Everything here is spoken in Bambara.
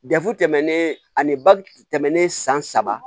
tɛmɛnen ani ba tɛmɛnen san saba